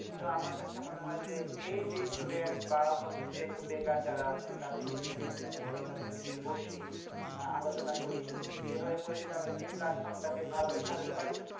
তো আমার কাছে মনে হয় যে এই যে student বা হচ্ছে একটু বেকার যারা আছে তাদেরকে নিয়ে যদি আমরা plan করি। তাদেরকে নিয়ে বসি আহ আলোচনা করি। এভাবে করে যদি এই platform টা কে ভালোভাবে সাজাতে পারি